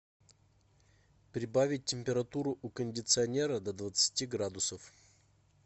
прибавить температуру у кондиционера до двадцати градусов